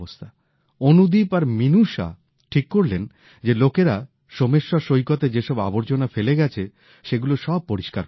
অনুদীপ আর মিনুষা ঠিক করলেন যে লোকেরা সোমেশ্বর সৈকতে যে সব আবর্জনা ফেলে গেছে সেগুলো সব পরিষ্কার করবেন